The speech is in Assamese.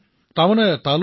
শ্ৰী হৰি জি বিঃ হয় মহাশয়